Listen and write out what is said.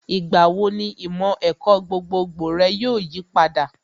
Ìgbà wo ni ìmọ̀ ẹ̀kọ́ gbogbogbò rẹ yóò yipadà?